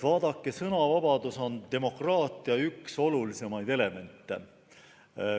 Vaadake, sõnavabadus on demokraatia üks olulisimaid elemente.